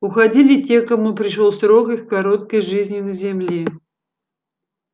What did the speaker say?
уходили те кому пришёл срок их короткой жизни на земле